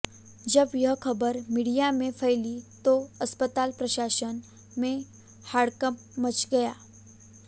जब यह खबर मीडिया में फैली तो अस्पताल प्रशासन में हड़कंप मचा गया